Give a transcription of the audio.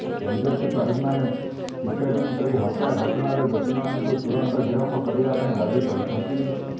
BJP କର୍ମୀମାନେ picketing କରି ହତ୍ୟା ଘଟଣାରେ ଦୋଷୀମାନଙ୍କୁ ତୁରନ୍ତ ଗିରଫ କରିବା ପାଇଁ ଦାବି କରିଛନ୍ତି